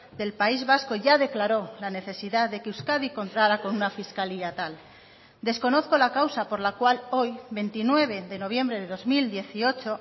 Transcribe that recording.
del país vasco ya declaró la necesidad de que euskadi contará con una fiscalía tal desconozco la causa por la cual hoy veintinueve de noviembre de dos mil dieciocho